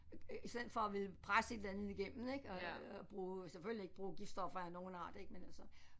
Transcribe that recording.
I stedet for at ville presse et eller andet igennem ik øh og bruge selvfølgelig ikke bruge giftstoffer af nogen art ik men altså